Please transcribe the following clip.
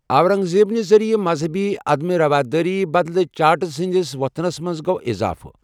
اورنگ زیب نہِ ذریعہٕ مذہبی عدم رواداری بدلہٕ جاٹز ہٕنٛدِس وۅتھنس منٛز گوٚو اِضافہٕ۔